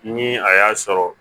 Ni a y'a sɔrɔ